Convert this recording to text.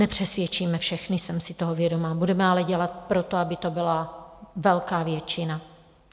Nepřesvědčíme všechny, jsem si toho vědoma, budeme ale dělat pro to, aby to byla velká většina.